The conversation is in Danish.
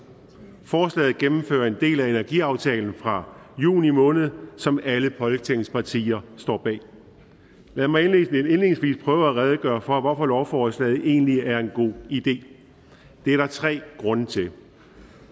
forslaget gennemfører en del af energiaftalen fra juni måned som alle folketingets partier står bag lad mig indledningsvis prøve at redegøre for hvorfor lovforslaget egentlig er en god idé det er der tre grunde til